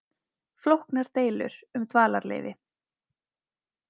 Flóknar deilur um dvalarleyfi